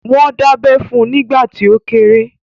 Wọ́n dábẹ́ fun nígbà tí ó kéré